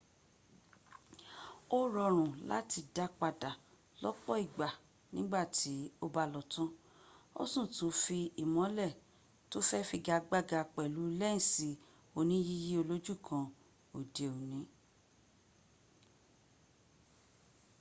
o rọrùn láti dápadà lọ́pọ ìgbà nígbàti´ o ba lọ tan o si tún fi ìmọ́lè to fé figagbága pèlú lensi oníyíyí olójú kan òdẹ òní